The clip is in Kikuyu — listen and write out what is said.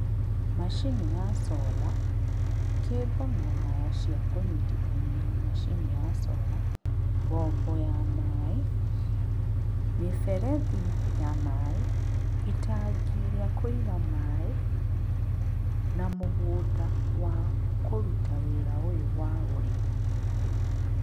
Macini ya cola, kembo na waya cia kũnyitithania na macini ya cola, mbombo ya maĩ, mĩberethi ya maĩ, itangi rĩa kũiga maĩ na mũgũnda wa kũruta wĩra ũyũ wa ũrĩmi.